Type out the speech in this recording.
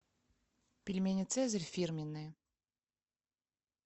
пельмени цезарь фирменные